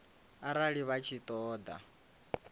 arali vha tshi ṱo ḓa